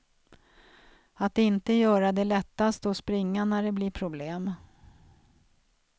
Att inte göra det lättaste och springa när det blir problem.